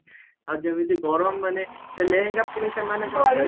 ଆଉ ଯେମିତି ଗରମ ମାନେ ସେ ଲେହେଙ୍ଗା ପୁଣି ସେମାନେ କଣ କହିବେ